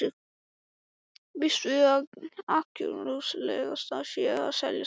Býst við að ákjósanlegast sé að selja strax.